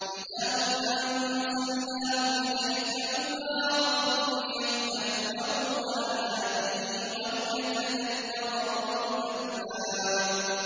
كِتَابٌ أَنزَلْنَاهُ إِلَيْكَ مُبَارَكٌ لِّيَدَّبَّرُوا آيَاتِهِ وَلِيَتَذَكَّرَ أُولُو الْأَلْبَابِ